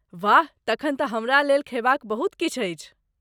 वाह, तखन तऽ हमरा लेल खयबाक बहुत किछु अछि।